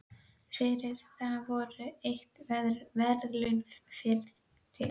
Fyrir það voru veitt verðlaun, ferð til